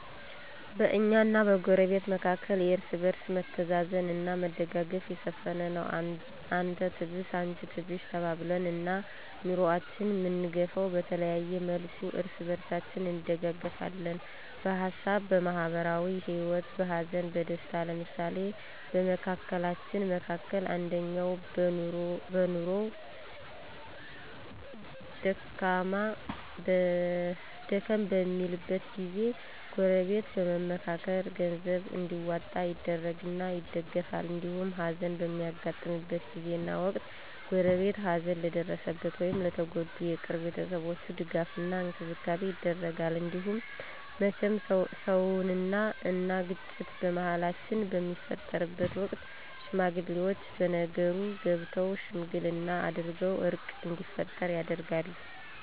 በእኛና በጎረቤት መካከል የእርስ በርስ መተዛዘን አና መደጋገፍ የሰፈነ ነው። አንተ ትብስ አንቺ ትብሽ ተባብለን ነው ኑኖአችን አምንገፈው። በተለያየ መልኩ እርስ በርሳችን እንደጋገፍለን በሀሳብ፣ በማህበራዊ ሂወት፣ በሀዘን በደስታው። ለምሳሌ በመካከላችን መካከል አንደኛው በኑኖው ደከም በሚልበት ጊዜ ጎረበት በመምካከር ገንዘብ እንዲዋጣ ይደረግና ይደገፍል። እንዲሁም ሀዘን በሚያጋጥምበት ጊዜና ወቅት ጎረቤት ሀዘን ለደረሰበት ወይም ለተጎዱ የቅርብ ቤተሰቦች ድጋፍ እና እንክብካቤ ይደረጋል። እንዲሁም መቸም ሰውነን አና ግጭት በመሀላችን በሚፈጠርበት ወቅት ሽማግሌወች በነገሩ ገብተው ሽምግልና አድርገው እርቅ እንዲፈጠር ይደረጋል።